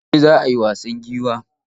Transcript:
Goben za a yi wasan giwa?